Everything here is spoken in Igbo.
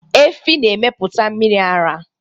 Efi na emepụta mmiri ara